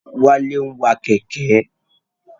Wálé ń wa Kẹ̀kẹ́